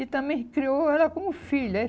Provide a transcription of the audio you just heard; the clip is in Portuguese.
E também criou ela como filha.